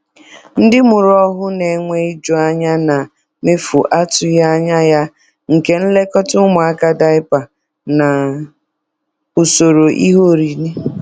Ndị mụrụ ọhụ na-enwe iju anya na mefu atụghị anya ya nke nlekọta ụmụaka, diapa, na usoro ihe oriri.